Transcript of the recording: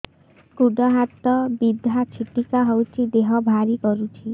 ଗୁଡ଼ ହାତ ବିନ୍ଧା ଛିଟିକା ହଉଚି ଦେହ ଭାରି କରୁଚି